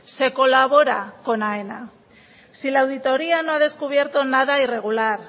se colabora con aena si la auditoría no ha descubierto nada irregular